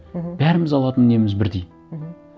мхм бәріміз алатын неміз бірдей мхм